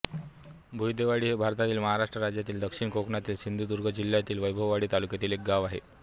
भुयदेवाडी हे भारतातील महाराष्ट्र राज्यातील दक्षिण कोकणातील सिंधुदुर्ग जिल्ह्यातील वैभववाडी तालुक्यातील एक गाव आहे